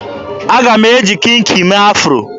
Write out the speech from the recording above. Aga m eji kinki mee afro.